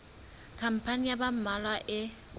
khampani ya ba mmalwa e